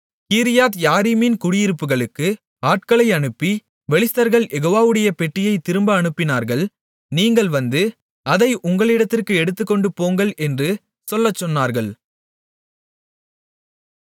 கீரியாத்யாரீமின் குடியிருப்புகளுக்கு ஆட்களை அனுப்பி பெலிஸ்தர்கள் யெகோவாவுடைய பெட்டியைத் திரும்ப அனுப்பினார்கள் நீங்கள் வந்து அதை உங்களிடத்திற்கு எடுத்துக்கொண்டு போங்கள் என்று சொல்லச்சொன்னார்கள்